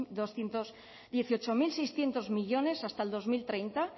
doscientos dieciocho mil seiscientos millónes hasta dos mil treinta